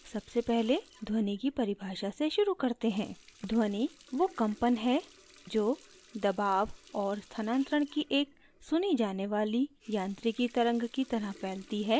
सबसे पहले ध्वनि की परिभाषा से शुरू करते हैं ध्वनि वो कम्पन है जो दबाव और स्थानांतरण की एक सुनी जाने वाली यांत्रिकी तरंग की तरह फैलती है